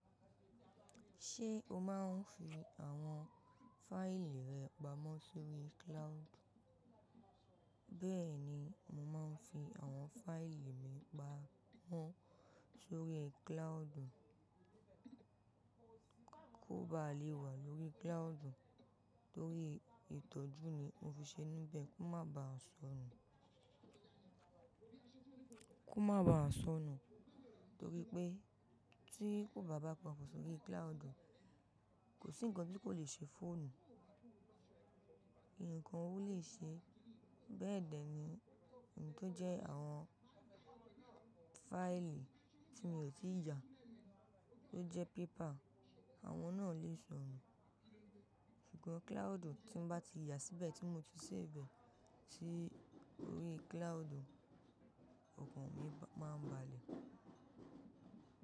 Ṣé o máa ń fi àwọn fáìlì rẹ pamọ́ sórí cloud? Bẹ́ẹ̀ni, mo máa ń fi àwọn fáìlì mi pamọ́ sórí cloud. Kóbàá lè wà lórí cloud, torí ìtọ́jú ni mo fi ṣe níbẹ̀ kó má baà sọnù, kó má baà sọnù. Torí pé tí kò bá bá pamọ́ sórí cloud, kò sí ǹkan tí kò le ṣe fóònù. Ìǹkan ò lè ṣe, bẹ́ẹ̀dẹ̀ ni ohun tó jẹ́ àwọn fáìlì tí mi ò tíì ya, tó jẹ́ paper, àwọn náà lè sọnù. Ṣùgbọ́n cloud tí n bá ti yà síbẹ̀ tí mo ti safe e sí orí cloud, ọkàn mi máa ń balẹ̀.